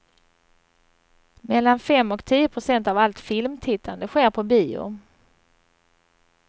Mellan fem och tio procent av allt filmtittande sker på bio.